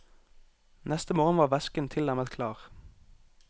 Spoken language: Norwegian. Neste morgen var væsken tilnærmet klar.